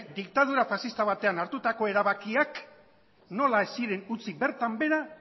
diktadura faxista batean hartutako erabakiak nola ez ziren utzi bertan behera